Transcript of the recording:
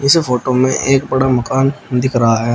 इस फोटो में एक बड़ा मकान दिख रहा है।